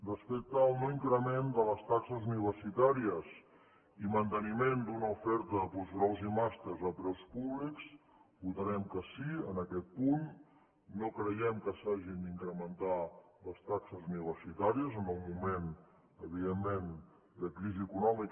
respecte al no increment de les taxes universitàries i manteniment d’una oferta de postgraus i màsters a preus públics votarem que sí en aquest punt no creiem que s’hagin d’incrementar les taxes universitàries en un moment evidentment de crisi econòmica